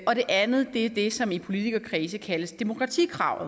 og det andet er det som i politikerkredse kaldes demokratikravet